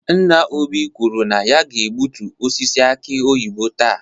Nna Obi kwuru na ya ga-egbutu osisi aki oyibo taa.